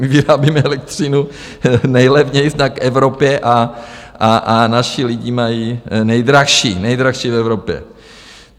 My vyrábíme elektřinu nejlevněji v Evropě a naši lidi mají nejdražší, nejdražší v Evropě.